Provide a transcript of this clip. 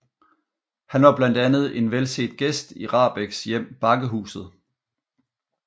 Han var blandt andet en velset gæst i Rahbeks hjem Bakkehuset